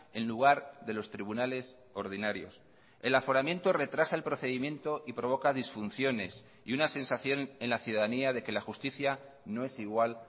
en lugar de los tribunales ordinarios el aforamiento retrasa el procedimiento y provoca disfunciones y una sensación en la ciudadanía de que la justicia no es igual